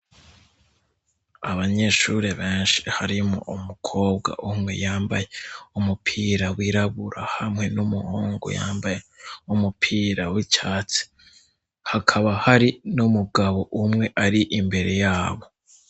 Abanyeshuri benshi harimwo umukobwa umwe yambaye umupira wirabura hamwe n'umuhungu yambaye umupira w'icatsi ; hakaba hari n'umugabo umwe ari imbere yabo.